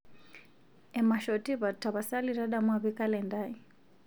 emasho tipat tapasali tadamu apik kalenda aai